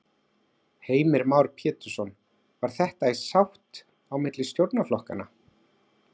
Heimir Már Pétursson: Var þetta í sátt á milli stjórnarflokkanna?